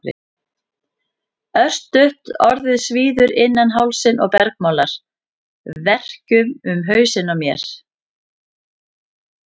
Örstutt orðið svíður innan hálsinn og bergmálar verkjum um hausinn á mér.